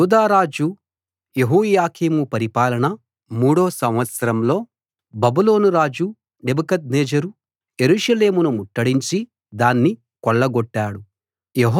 యూదా రాజు యెహోయాకీము పరిపాలన మూడో సంవత్సరంలో బబులోను రాజు నెబుకద్నెజరు యెరూషలేమును ముట్టడించి దాన్ని కొల్లగొట్టాడు